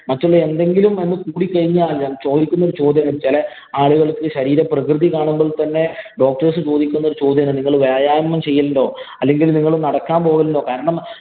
മറ്റുള്ള എന്തെങ്കിലും ഒന്ന് കൂടിക്കഴിഞ്ഞാല്‍ ചോദിക്കുന്ന ഒരു ചോദ്യമാണ്. ചെല ആളുകള്‍ക്ക് ശരീര പ്രകൃതി കാണുമ്പോള്‍ തന്നെ doctors ചോദിക്കുന്ന ഒരു ചോദ്യമാണ്. നിങ്ങള് വ്യായാമം ചെയ്യലുണ്ടോ? അല്ലെങ്കില്‍ നിങ്ങള്‍ നടക്കാന്‍ പോകലുണ്ടോ? കാരണം,